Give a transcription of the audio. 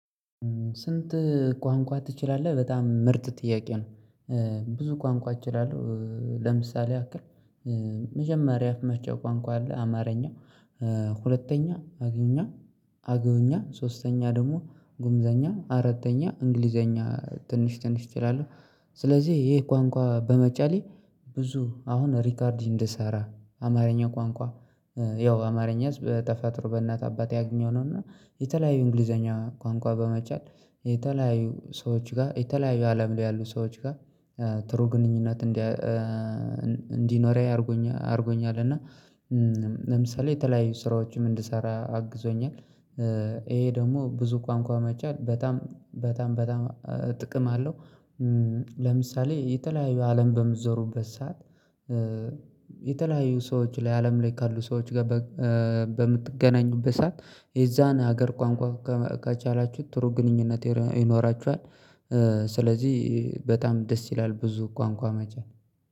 "ስንት ቋንቋ ትችላለህ?" በጣም ምርጥ ጥያቄ ነው። ብዙ ቋንቋ እችላለሁ። ለምሳሌ ያክል መጀመሪያ የአፍ መፍቻ ቋንቋ አለ አማርኛ። ሁለተኛ አገኛ አገውኛ፣ ሶስተኛ ደግሞ ጉምዘኛ፣ አራተኛ እንግሊዘኛ ትንሽ ትንሽ እችላለሁ። ስለዚህ ይሄ ቋንቋ በመቻሌ ብዙ አሁን ሪከርድ እንድሰራ፤ አማርኛ ቋንቋ ያው አማርኛስ በተፈጥሮ በእናት አባቴ ያገኘው ነው፤ እና የተለያዩ እንግሊዘኛ ቋንቋ በመቻል፤ የተለያዩ ሰዎች ጋር የተለያዩ አለም ላይ ያሉ ሰዎች ጋር ጥሩ ግንኙነት እንዲያ እንዲኖር አድርጎኛል። እና ለምሳሌ የተለያዩ ስራዎችም እንድሰራ አግዞኛል። ይሄ ደግሞ ብዙ ቋንቋ መቻል በጣም በጣም በጣም ጥቅም አለው። ለምሳሌ የተለያዩ አለም በምትዞሩበት ሰዓት የተለያዩ ሰዎች ላይ አለም ላይ ካሉ ሰዎች ጋር በምትገናኙበት ሰዓት የዛን ሀገር ቋንቋ ከቻላችሁት ጥሩ ግንኙነት ይኖራችኋል። ስለዚህ በጣም ደስ ይላል ብዙ ቋንቋ መቻል።